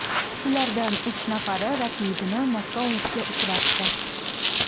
Shulardan uch nafari raqibini nokautga uchratdi.